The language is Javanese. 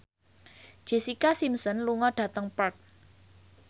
Jessica Simpson lunga dhateng Perth